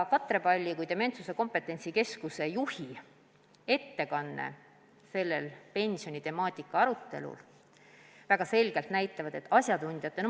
Katre Palli kui Dementsuse Kompetentsikeskuse juhi ettekanne sellel pensionitemaatika arutelul näitas väga selgelt, et selline on ka valdkonna asjatundjate arvamus.